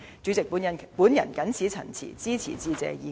主席，我謹此陳辭，支持致謝議案。